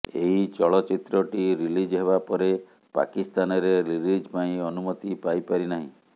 ଏହି ଚଳଚ୍ଚିତ୍ରଟି ରିଲିଜ୍ ହେବା ପରେ ପାକିସ୍ତାନରେ ରିଲିଜ୍ ପାଇଁ ଅନୁମତି ପାଇ ପାରିନାହିଁ